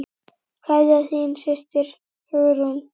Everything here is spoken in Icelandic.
Kveðja, þín systir, Hugrún.